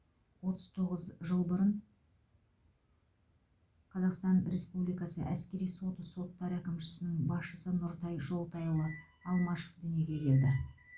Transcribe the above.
отыз тоғыз жыл бұрын қазақстан республикасы әскери соты соттар әкімшісінің басшысы нұртай жолтайұлы алмашов дүниеге келді